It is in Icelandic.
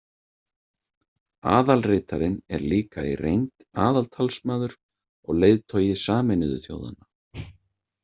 Aðalritarinn er líka í reynd aðaltalsmaður og leiðtogi Sameinuðu þjóðanna.